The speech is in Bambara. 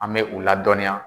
An mɛ u ladɔnniya.